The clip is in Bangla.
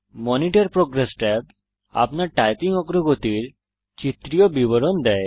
মনিটর প্রোগ্রেস ট্যাব আপনার টাইপিং অগ্রগতির চিত্রীয় বিবরণ দেয়